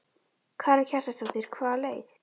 Karen Kjartansdóttir: Hvaða leið?